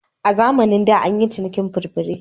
A zamanin da an yi cinikin furfure.